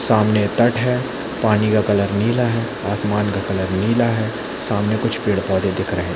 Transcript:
सामने तट है पानी का कलर नीला है आसमान का कलर नीला सामने कुछ पेड़- पौधे दिख रहे है।